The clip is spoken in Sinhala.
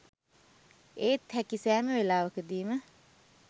ඒත් හැකි සෑම වෙලාවකදීම